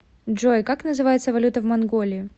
джой как называется валюта в монголии